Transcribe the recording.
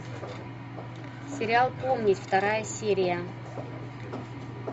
сериал помнить вторая серия